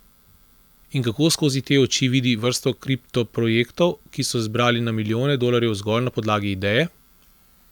In kako skozi te oči vidi vrsto kriptoprojektov, ki so zbrali na milijone dolarjev zgolj na podlagi ideje?